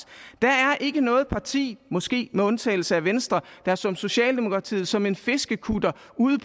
der er ikke noget parti måske med undtagelse af venstre der som socialdemokratiet som en fiskekutter